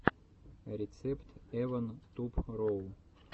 рецепт эван туб роу